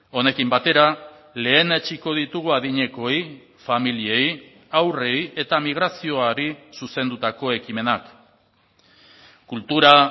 honekin batera lehenetsiko ditugu adinekoei familiei haurrei eta migrazioari zuzendutako ekimenak kultura